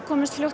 komumst